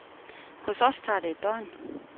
Hos os tager det et døgn.